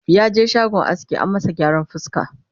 yaje shagon aski an masa gyaran fuska